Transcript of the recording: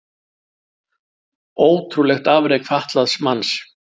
Ótrúlegt afrek fatlaðs manns